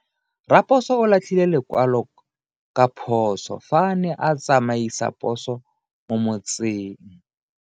Raposo o latlhie lekwalo ka phoso fa a ne a tsamaisa poso mo motseng.